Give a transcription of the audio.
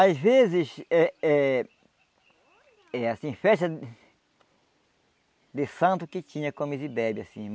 Às vezes eh eh... É assim, festa... De santo que tinha comes e bebe, assim.